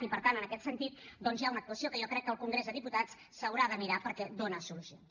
i per tant en aquest sentit doncs hi ha una actuació que jo crec que el congrés dels diputats se l’haurà de mirar perquè dona solucions